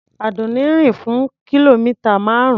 Àdùnní rìn fún kìlómità márùn-ún.